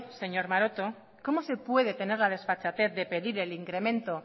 señor maroto cómo se puede tener la desfachatez de pedir el incremente